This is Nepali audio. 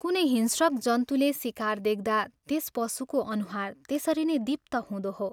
कुनै हिंस्रक जन्तुले शिकार देख्दा त्यस पशुको अनुहार त्यसरी नै दीप्त हुँदो हो।